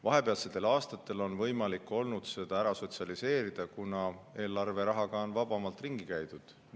Vahepealsetel aastatel on võimalik olnud seda ära sotsialiseerida, kuna eelarverahaga on vabamalt ringi käidud.